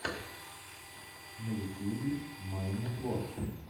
на ютьюбе майнитворк